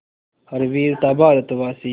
हर वीर था भारतवासी